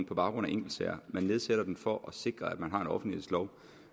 på baggrund af enkeltsager man nedsætter den for at sikre at man har en offentlighedslov